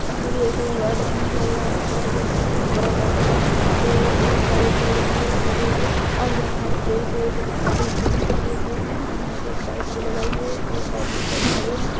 ये भी एक गार्डन ही लग रहा है और यह बहुत ही बड़ा गार्डन है और यहाँ पे बहुत सारे पेड़ भी हैं लगे हुए और यहाँ हर पेड़ के जो हैं ना अधे चुने किए हुए हैं और यहाँ पे एक बाइक भी लगाई हुई और एक आदमी शायद खड़े हैं।